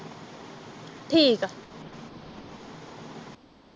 ਠੀਕ ਆ